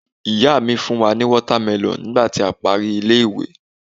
ìyá mi fún wa ni watermelon nigba ti a pari ile iwe